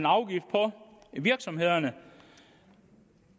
afgift på virksomhederne